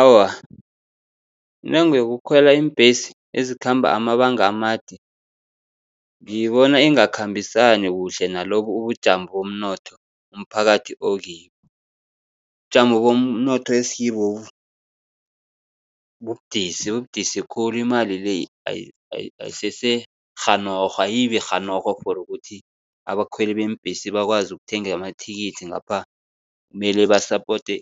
Awa, intengo yokukhwela iimbhesi ezikhamba amabanga amade, ngiyibona ingakhambisani kuhle nalobu ubujamo bomnotho umphakathi okibo. Ubujamo bomnotho esikibobu bubudisi, bubudisi khulu imali le ayisese rhanorho, ayibi rhanorho for ukuthi abakhweli beembhesi bakwazi ukuthenga amathikithi, ngapha mele basapote,